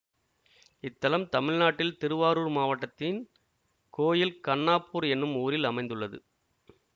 இத்தலம் தமிழ்நாட்டில் திருவாரூர் மாவட்டத்தின் கோயில் கண்ணாப்பூர் எனும் ஊரில் அமைந்துள்ளது